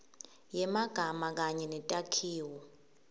yemagama kanye netakhiwo